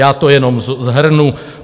Já to jenom shrnu.